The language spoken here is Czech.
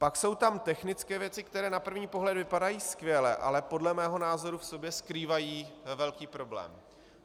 Pak jsou tam technické věci, které na první pohled vypadají skvěle, ale podle mého názoru v sobě skrývají velký problém.